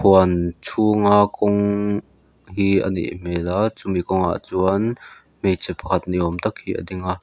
huan chhunga kawng hi a nih hmel a chumi kawngah chuan hmeichhe pakhat niawm tak hi a ding a.